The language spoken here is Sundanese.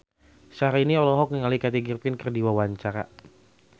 Syahrini olohok ningali Kathy Griffin keur diwawancara